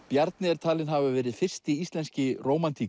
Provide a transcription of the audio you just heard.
Bjarni er talinn hafa verið fyrsti íslenski